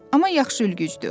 Amma yaxşı ülgücdür.